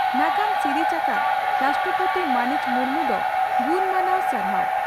ᱱᱟᱜᱟᱢ ᱥᱤᱨᱤᱡᱽ ᱟᱠᱟᱫ ᱨᱟᱥᱴᱨᱚᱯᱚᱛᱤ ᱢᱟᱹᱱᱤᱡ ᱢᱩᱨᱢᱩ ᱫᱚ ᱜᱩᱱᱢᱟᱱᱟᱣ ᱥᱟᱨᱦᱟᱣ ᱾